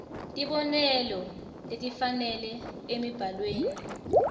tibonelo letifanele emibhalweni